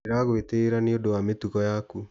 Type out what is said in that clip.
Ndĩragũĩtĩyĩra niũndũ wa mĩtugo yaku.